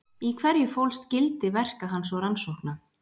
Í hverju fólst gildi verka hans og rannsókna?